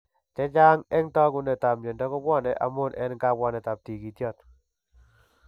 Chechaang' en taakunetaab myondo kobwane amun en kabwanet en tiikiityoot.